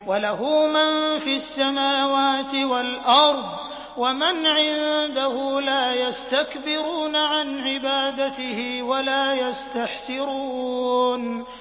وَلَهُ مَن فِي السَّمَاوَاتِ وَالْأَرْضِ ۚ وَمَنْ عِندَهُ لَا يَسْتَكْبِرُونَ عَنْ عِبَادَتِهِ وَلَا يَسْتَحْسِرُونَ